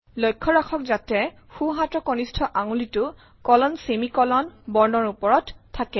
লক্ষ্য ৰাখত যাতে সোঁহাতৰ কনিষ্ঠ আঙুলিটো কলনছেমিকলন বৰ্ণৰ ওপৰত থাকে